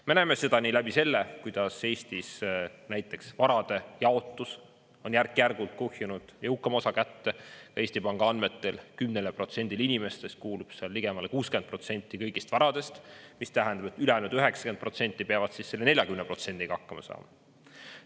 Me näeme seda nii läbi selle, kuidas Eestis näiteks varade jaotus on järk-järgult kuhjunud, jõukam osa kätte, ja Eesti Panga andmetel 10%-le inimestest kuulub seal ligemale 60% kõigist varadest, mis tähendab, et ülejäänud 90% peavad siis selle 40%-ga hakkama saama.